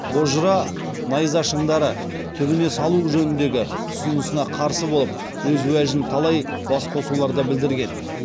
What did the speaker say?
бозжыра найзашыңдары түбіне салу жөніндегі ұсынысына қарсы болып өз уәжін талай басқосуларда білдірген